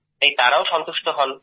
তাই তাঁরাও সন্তুষ্টি হন